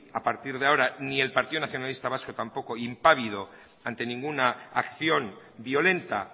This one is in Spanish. a partir de ahora ni el partido nacionalista vasco tampoco impávido ante ninguna acción violenta